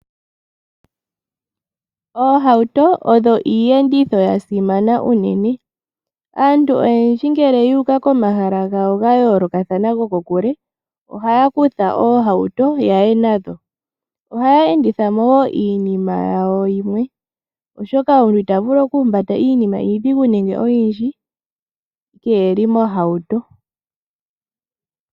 Oohauto odho iiyenditho ya simana unene, aantu oyendji ngele yuuka komahala gawo ga yoolokathana go ko kule ,ohaya kutha oohauto yaye nadho. Ohaya enditha mo woo iinima yawo yimwe oshoka omuntu ita vulu oku humbata iinima iidhigu nenge oyindji keeli mohauto.